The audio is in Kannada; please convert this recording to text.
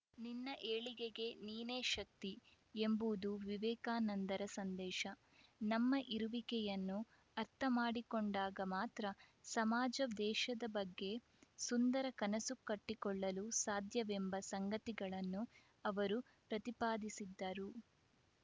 ನಿನ್ನ ಏಳಿಗೆಗೆ ನೀನೇ ಶಕ್ತಿಎಂಬುದು ವಿವೇಕಾನಂದರ ಸಂದೇಶ ನಮ್ಮ ಇರುವಿಕೆಯನ್ನು ಅರ್ಥ ಮಾಡಿಕೊಂಡಾಗ ಮಾತ್ರ ಸಮಾಜದೇಶದ ಬಗ್ಗೆ ಸುಂದರ ಕನಸು ಕಟ್ಟಿಕೊಳ್ಳಲು ಸಾಧ್ಯವೆಂಬ ಸಂಗತಿಗಳನ್ನು ಅವರು ಪ್ರತಿಪಾದಿಸಿದ್ದರು